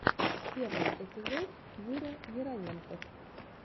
первый эпизод юра яровенков